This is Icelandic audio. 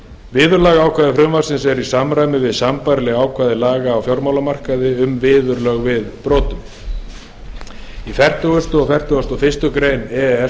viðurlagaákvæði frumvarpsins eru í samræmi við sambærileg ákvæði laga á fjármálamarkaði um viðurlög við brotum í fertugustu og fertugasta og fyrstu grein e e s